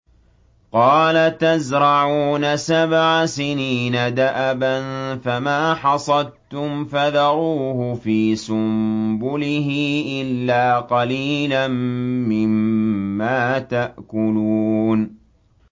قَالَ تَزْرَعُونَ سَبْعَ سِنِينَ دَأَبًا فَمَا حَصَدتُّمْ فَذَرُوهُ فِي سُنبُلِهِ إِلَّا قَلِيلًا مِّمَّا تَأْكُلُونَ